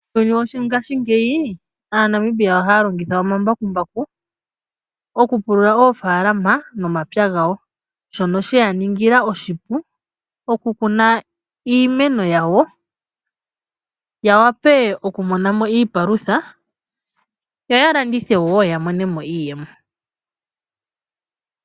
Muuyuni wongaashingeyi aanamibia ohaya longitha omambakumbaku okupulula oofalama nomapya gawo shoka sheya ningila oshipu okukuna iimeno yawo ya wape okumonamo iipalutha yo ya landithe wo ya monemo iiyemo.